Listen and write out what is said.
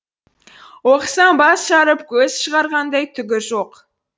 оқысам бас жарып көз шығарғандай түгі жоқ